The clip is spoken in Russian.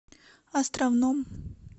островном